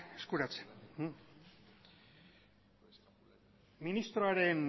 eskuratzen ministroaren